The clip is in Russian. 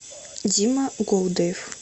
дима голдаев